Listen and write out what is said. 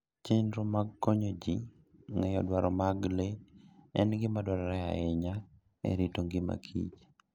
Chenro mag konyo ji ng'eyo dwaro mag le en gima dwarore ahinya e rito ngima kich